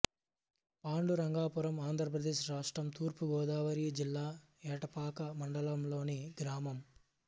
పాండురంగాపురం ఆంధ్ర ప్రదేశ్ రాష్ట్రం తూర్పు గోదావరి జిల్లా ఎటపాక మండలంలోని గ్రామం